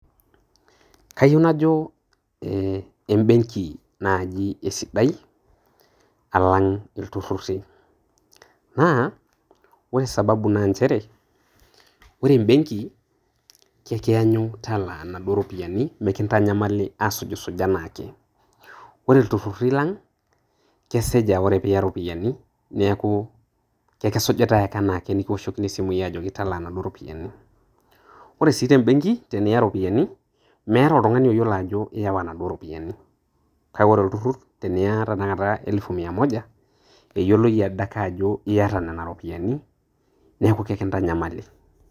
Kayiu najo e mbeng'i naaji esidai alang' iltururri. Naa ore sababu naa nchere ore embeng'i ke kianyu talaa naduo ropiani , mekintanyamali asujsuj anaake. Kore iltururi lang' keseja ore pee iya iropiani neaku ke kisujitai anaake nikioshokini esimu ajoki talaa naduo rupiani. Ore sii tembeng'i tiniyaa iropiani meeta oltung'ani layolou ajo iwaa naduo ropiani. Kake kore olturur tiniyaa tenakata matejo elfu mia moja eyioloi ade ake ajo iata nena ropiani neaku ke kintanyamali.